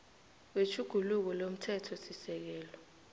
we tjhuguluko lomthethosisekelo